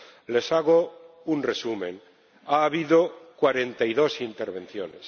Les hago un resumen ha habido cuarenta y dos intervenciones